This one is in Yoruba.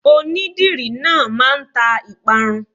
Onídìrí náà máa ń ta ìparun.